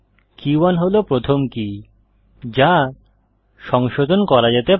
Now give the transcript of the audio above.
কে 1 হল প্রথম কী যা সংশোধন করা যেতে পারে